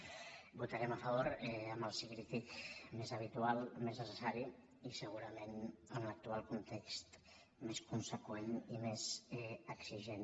hi votarem a favor amb el sí crític més habitual més necessari i segurament en l’actual context més conseqüent i més exigent